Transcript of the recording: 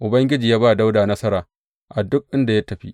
Ubangiji ya ba Dawuda nasara a duk inda ya tafi.